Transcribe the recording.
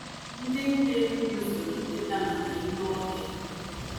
Ndị nta Enugwu zụrụ nkịta maka ime ọhịa.